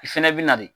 I fɛnɛ bi na de